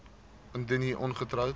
indien u ongetroud